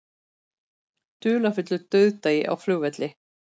Dularfullur dauðdagi á flugvelli